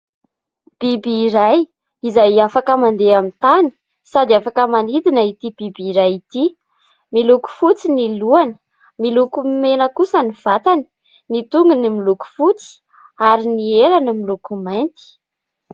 Biby iray izay afaka mandeha amin'ny tany sady afaka manidina ity biby iray ity, miloko fotsy ny lohany miloko mena kosa ny vatany, ny tongony miloko fotsy ary ny helany miloko mainty.